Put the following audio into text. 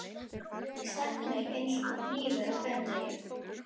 Þessi setning stakk mig eins og hnífur á hverjum degi.